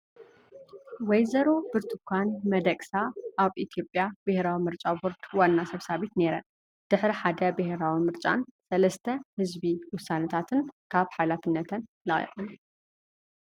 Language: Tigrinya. ወ/ሮ ብርቱካን መደቅሳ ኣብ ኢትዮጵያ ብሄራዊ ምርጫ ቦርዲ ዋና ሰብሳቢት ነይረን። ድሕሪ ሓደ ብሄራዊ ምርጫን 3ተ ህዝቢ ውሳነታትን ካብ ሓላፍነተን ለቒቐን።